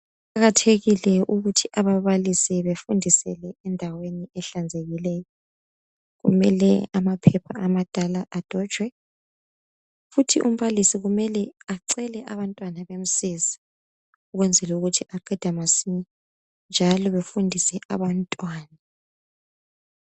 Kuqakathekile ukuthi ababalisi befundisele endaweni ehlanzekileyo. Kumele amaphepha amadala adonjwe futhi umbalisi kumele acele abantwana bamsize ukwenzela ukuthi aqede masinya njalo befundise abantwana.